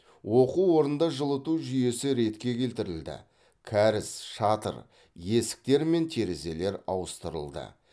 оқу орнында жылыту жүйесі ретке келтірілді кәріз шатыр есіктер мен терезелер ауыстырылды